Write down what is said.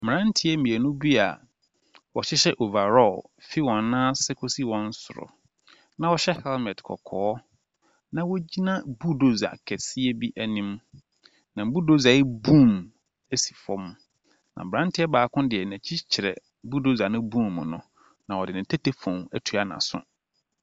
Mmeranteɛ mmienu bi a wɔhyehyɛ overall fi wɔn nan ase kɔsi wɔn soro, na wɔhyɛ helmet kɔkɔɔ na wɔgyina bulldozer kɛseɛ bi anim. Na bulldozer yi boom si fam, na aberanteɛ baako deɛ n’akyi kyerɛ bulldozer ne boom no. Na ɔde ne tetefoon atua n’aso.